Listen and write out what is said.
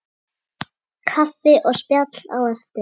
Kaffi og spjall á eftir.